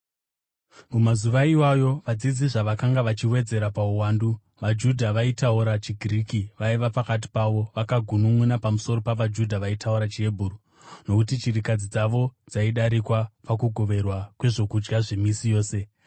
Mumazuva iwayo vadzidzi zvavakanga vachiwedzerwa pauwandu, vaJudha vaitaura chiGiriki vaiva pakati pavo vakagununʼuna pamusoro pavaJudha vaitaura chiHebheru nokuti chirikadzi dzavo dzaidarikwa pakugoverwa kwezvokudya zvemisi yose.